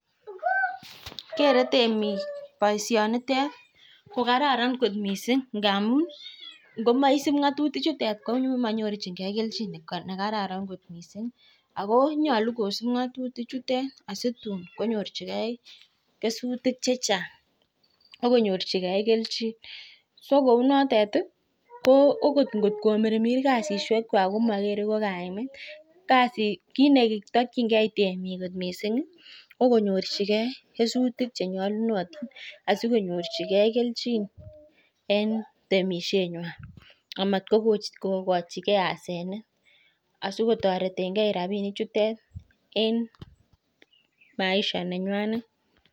Kerei temik boishonitet ko kararan kot mising. Ngamun ngomaisup ng'atutik chutet ko manyorchingei kelchin nekararan kot mising. Ako nyolu kosup ng'atutik chutet asitun konyorchikei kesutik chechan'g akonyorchikei kelchin. so kou notet ko okot ngot komirmir kasisiekwai, komagerei ko kaimet. Kit netakchingei temik kot mising ko konyorchigei kesutik chenyolunotin asi konyorchigei kelchin en temisieng'wai. Amatkokochigei asenet asikotoretengei rapinichutet en maisha nenyainet